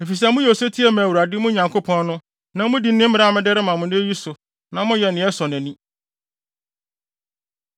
efisɛ moyɛ osetie ma Awurade, mo Nyankopɔn no, na mudi ne mmara a mede rema mo nnɛ yi so na moyɛ nea ɛsɔ nʼani.